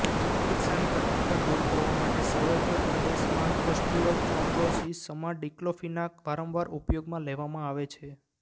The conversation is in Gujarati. ચિકિત્સાની કઠોરતા દૂર કરવા માટે સર્વાઇકલ પ્રદેશમાં ઑસ્ટીયોચ્રોન્ડ્રોસિસમાં ડિકલોફિનાક વારંવાર ઉપયોગમાં લેવામાં આવે છે